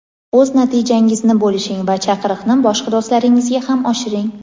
o‘z natijangizni bo‘lishing va chaqiriqni boshqa do‘stlaringizga ham oshiring!.